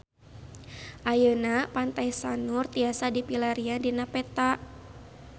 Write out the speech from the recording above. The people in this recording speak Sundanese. Ayeuna Pantai Sanur tiasa dipilarian dina peta